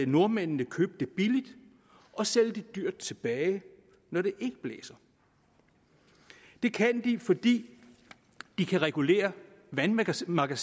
nordmændene købe det billigt og sælge det dyrt tilbage når det ikke blæser det kan de fordi de kan regulere vandmagasinerne